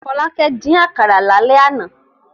Fọlákẹ́ dín àkàrà lálẹ́ àná.